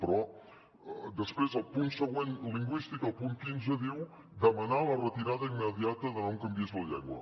però després al punt següent lingüístic al punt quinze diu demanar la retirada immediata de no em canviïs la llengua